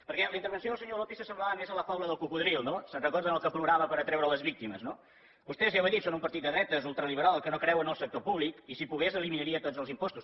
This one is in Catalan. perquè la intervenció del senyor lópez s’assemblava més a la faula del cocodril no se’n recorden el que plorava per atraure les víctimes no vostès ja ho he dit són un partit de dretes ultraliberal que no creu en el sector públic i si pogués eliminaria tots els impostos